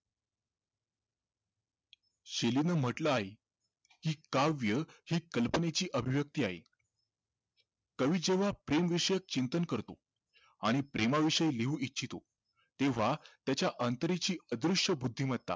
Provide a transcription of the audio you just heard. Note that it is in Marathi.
म्हटलं आहे कि काव्य हि कल्पनेची अभिव्यक्ती आहे कवि जेव्हा प्रेमविषयी चिंतन करतो आणि प्रेमाविषयी लिहू इच्छितो तेव्हा त्याच्या अंतरेंची अदृश्य बुद्धिमत्ता